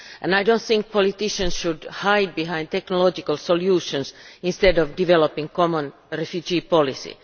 I do not think politicians should hide behind technological solutions instead of developing a common refugee policy.